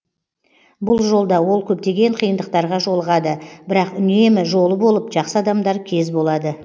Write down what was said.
бұл жолда ол көптеген қиындықтарға жолығады бірақ үнемі жолы болып жақсы адамдар кез болады